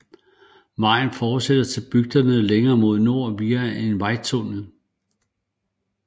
Vejen fortsætter til bygderne længere mod nord via en vejtunnel